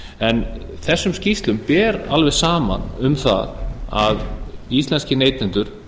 en þessum skýrslum ber alveg saman um það að íslenskir neytendur